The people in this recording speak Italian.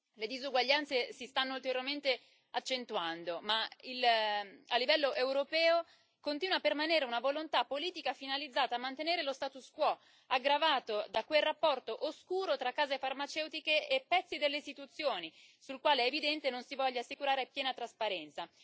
Le disuguaglianze si stanno duramente accentuando ma, a livello europeo, continua a permanere una volontà politica finalizzata a mantenere lo status quo, aggravato da quel rapporto oscuro tra case farmaceutiche e pezzi delle istituzioni sul quale è evidente non si voglia assicurare piena trasparenza.